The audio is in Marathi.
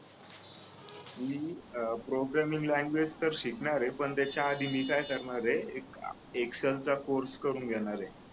मी प्रोग्रामिंग लँग्वेज तर शिकणार आहे पण त्याच्याआधी काय करणार आहे एक एक्सएल चा कोर्स करून घेणारे